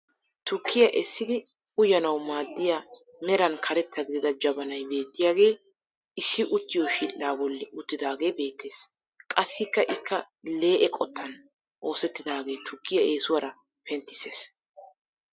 Tukkiyaa essidi uyanawu maaddiyaameran karetta gidida jabanay beettiyaagee issi uttiyoo shidhdhaa bolli uttidaagee beettees. qassi ikka lee'e qottan osettidaagee tukkiyaa eesuwaara penttises.